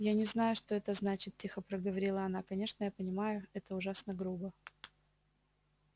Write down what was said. я не знаю что это значит тихо проговорила она конечно я понимаю это ужасно грубо